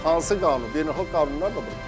Hansı qanun? Beynəlxalq qanun varımdır.